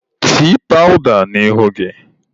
Tee pawụda n'ihu gị!.